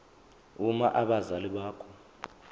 uma abazali bakho